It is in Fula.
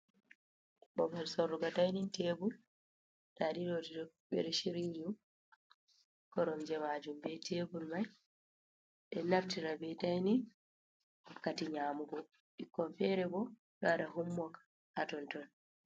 Bobal sorrugo dinning tebul da di be do shiryi koromje majum be tebul mai, be do naftira be dining wakkati nyamugo, bikkon fere bo do wada home work ha tonton.